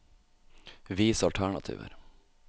Vis alternativer